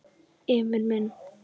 Emil minn!